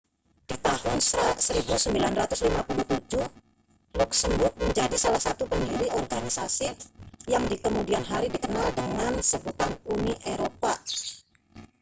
di tahun 1957 luksemburg menjadi salah satu pendiri organisasi yang di kemudian hari dikenal dengan sebutan uni eropa